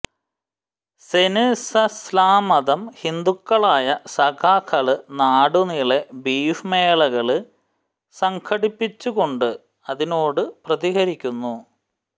സെന്സസില്മാത്രം ഹിന്ദുക്കളായ സഖാക്കള് നാടുനീളെ ബീഫ് മേളകള് സംഘടിപ്പിച്ചുകൊണ്ട് അതിനോടു പ്രതികരിക്കുന്നു